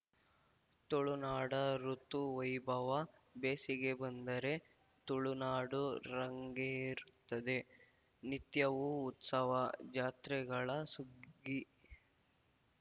ತುಳುನಾಡ ಋುತು ವೈಭವ ಬೇಸಿಗೆ ಬಂದರೆ ತುಳುನಾಡು ರಂಗೇರುತ್ತದೆ ನಿತ್ಯವೂ ಉತ್ಸವ ಜಾತ್ರೆಗಳ ಸುಗ್ಗಿ